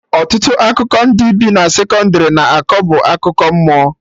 Ọtụtụ akụkọ ndị bi na sekọndrị na-akọ bụ akụkọ mmụọ